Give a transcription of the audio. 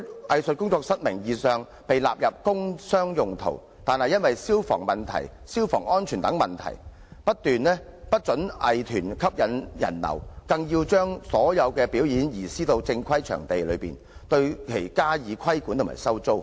藝術工作室名義上被納入工商用途，但卻因為消防安全等理由不得吸引人流，更要求將所有表演移師到正規表演場地進行，對其加以規管及收租。